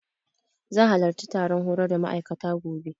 Zan halarci taron horar da ma'aikata, gobe.